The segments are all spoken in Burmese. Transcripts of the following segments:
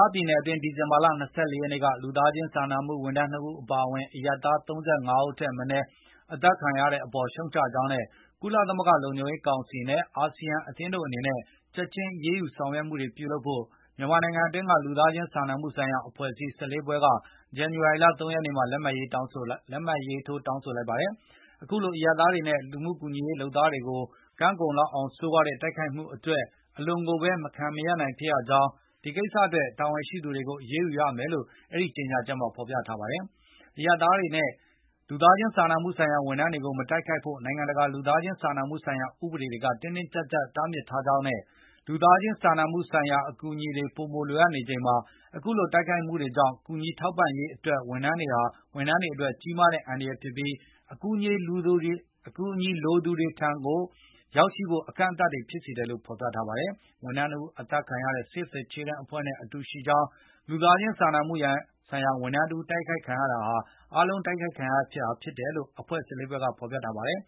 ားပြည်နယ် အတွင်း ဒီဇင်ဘာလ ၂၄ ရက်နေ့က လူသားချင်း စာနာမှုဝန်ထမ်း ၂ ဦးအပါအဝင် အရပ်သား ၃၅ ဦးထက်မနည်း အသတ်ခံခဲ့ရတဲ့ပေါ် ရှုတ်ချကြောင်းနဲ့ ကုလသမဂ္ဂ လုံခြုံရေးကောင်စီနဲ့ အရှေ့တောင်အာရှ နိုင်ငံများ အသင်း ASEAN တို့ အနေနဲ့ ချက်ချင်း အရေးယူ ဆောင်ရွက်မှုတွေ လုပ်ဖို့ မြန်မာနိုင်ငံတွင်းက လူသားချင်း စာနာမှုဆိုင်ရာ အဖွဲ့အစည်း ၁၄ ဖွဲ့က ဒီဇင်ဘာလ ၃၁ ရက်နေ့မှာ လက်မှတ်ရေးထိုး တောင်းဆိုလိုက်ပါတယ်။ အခုလိုအရပ်သားတွေနဲ့ လူမှု ကူညီရေး လုပ်သားတွေကို ကမ်းကုန်လောက်အောင် ဆိုးရွားတဲ့ တိုက်ခိုက်မှု အတွက် အလွန်ကိုဘဲ မခံမရပ်နိုင် ဖြစ်ရကြောင်းနဲ့ ဒီကိစ္စ အတွက် တာဝန်ရှိသူတွေကို အရေးယူရမယ်လို့ ကြေညာချက်မှာ ဖော်ပြပါတယ်။ အရပ်သားတွေနဲ့ လူသားချင်း စာနာမှု ဆိုင်ရာ ဝန်ထမ်းတွေကို မတိုက်ခိုက်ဖို့ နိုင်ငံတကာ လူသားချင်း စာနာမှု ဆိုင်ရာ ဥပဒေတွေက တင်းတင်းကြပ်ကြပ် တားမြစ်ထားကြောင်းနဲ့ လူသားချင်း စာနာမှု ဆိုင်ရာ အကူအညီတွေ ပိုမို လိုအပ်နေချိန်မှာ အခုလို တိုက်ခိုက်မှုတွေကြောင့် ကူညီထောက်ပံ့ရေး ဝန်ထမ်းတွေ အတွက် ကြီးမားတဲ့ အန္တရာယ် ဖြစ်ပြီး အကူအညီ လိုသူတွေထံ ရောက်ရှိဖို့ အကန့်အသတ်တွေ ဖြစ်စေတယ်လို့လည်း ဖော်ပြပါတယ်။ ဝန်ထမ်း ၂ ဦးအသတ်ခံရတဲ့ Save the Children အဖွဲ့နဲ့ အတူရှိကြောင်းနဲ့ လူသားချင်း စာနာမှုဆိုင်ရာ ဝန်ထမ်းတဦး တိုက်ခိုက်ခံရတာဟာ အားလုံးတိုက်ခိုက် ခံရတာဘဲဖြစ် တယ်လို့ ၁၄ ဖွဲ့က ဖော်ပြထားပါတယ်။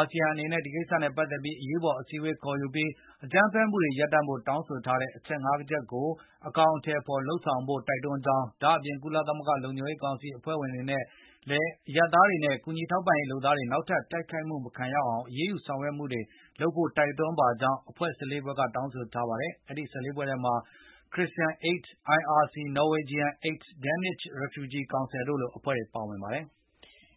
ASEAN အနေနဲ့ ဒီကိစ္စနဲ့ ပတ်သက်ပြီး အရေးပေါ် အစည်းအဝေး ခေါ်ယူပြီး အကြမ်းဖက်မှုတွေ ရပ်တန့်ဖို့ တောင်းဆိုထားတဲ့ အချက် ၅ ချက်ကို အကောင်အထည်ဖော် လုပ်ဆောင်ဖို့ တိုက်တွန်းကြောင်း၊ ဒါ့အပြင် ကုလသမဂ္ဂ လုံခြုံရေး ကောင်စီနဲ့ အဖွဲ့ဝင် နိုင်ငံတွေ အနေနဲ့လည်း အရပ်သားတွေနဲ့ ကူညီထောက်ပံ့ရေး လုပ်သားတွေကို နောက်ထပ် တိုက်ခိုက် မခံရအောင် အရေးယူ ဆောင်ရွက်မှုတွေ လုပ်ဖို့ တိုက်တွန်းပါကြောင်း အဖွဲ့ ၁၄ ဖွဲ့က တောင်းဆိုထားပါတယ်။ အဲဒီ အဖွဲ့ ၁၄ ဖွဲ့ထဲမှာ Christina Aid, IRC, Norwegian Aid, Danish Refugee Council တို့လို အဖွဲ့တွေလည်း ပါဝင်ပါတယ်။